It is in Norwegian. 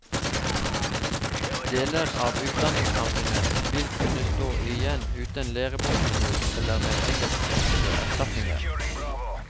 Deler av utdanningssamfunnet vil kunne stå igjen uten læreboktilbud eller med engelskspråklige erstatninger.